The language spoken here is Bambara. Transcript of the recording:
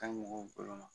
Ka ɲi mɔgɔw bolo ma